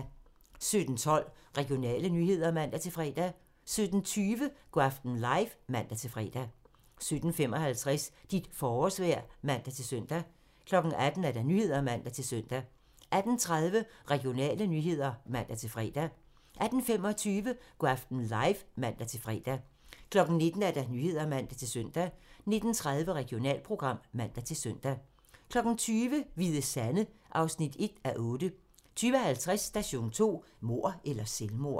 17:12: Regionale nyheder (man-fre) 17:20: Go' aften live (man-fre) 17:55: Dit forårsvejr (man-søn) 18:00: Nyhederne (man-søn) 18:20: Regionale nyheder (man-fre) 18:25: Go' aften live (man-fre) 19:00: Nyhederne (man-søn) 19:30: Regionalprogram (man-søn) 20:00: Hvide Sande (1:8) 20:50: Station 2: Mord eller selvmord?